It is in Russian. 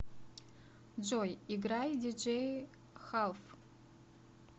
джой играй диджей халф